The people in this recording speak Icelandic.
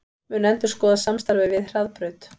Mun endurskoða samstarfið við Hraðbraut